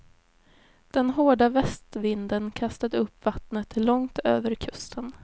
Den hårda västvinden kastade upp vattnet långt över kusten.